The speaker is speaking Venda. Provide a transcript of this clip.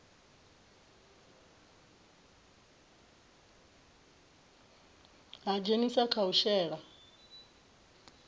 ha dzhenisa kha u shela